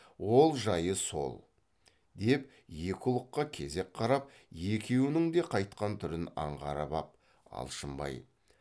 ол жайы сол деп екі ұлыққа кезек қарап екеуінің де қайтқан түрін аңғарып ап алшынбай